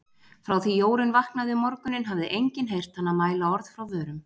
Frá því Jórunn vaknaði um morguninn hafði enginn heyrt hana mæla orð frá vörum.